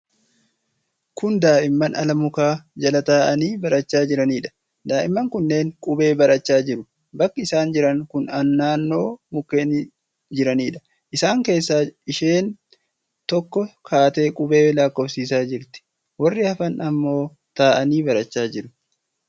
Kun daa'imman ala muka jala taa'anii barachaa jiranidha. Daa'imman kunneen qubee barachaa jiru. Bakki isaan jiran kun naannoo mukkeen jiranidha. Isaan keessa isheen tokko kaatee qubee lakkoofsisaa jirti. warri hafan ammoo taa'anii barachaa jiru.